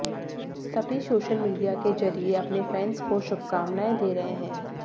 सभी social media के जरिए अपने फैंस को शुभकामनाएं दे रहे हैं